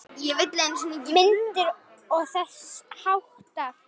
Myndir og þess háttar.